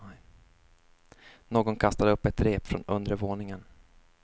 Någon kastade upp ett rep från undre våningen.